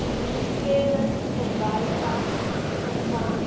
claremont verbypad vervang